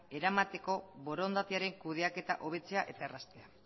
eramateko borondatearen kudeaketa hobetzea eta erraztea